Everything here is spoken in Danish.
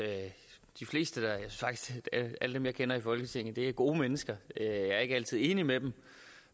faktisk at alle dem jeg kender i folketinget er gode mennesker jeg er ikke altid enig med dem